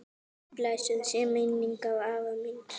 Blessuð sé minning afa míns.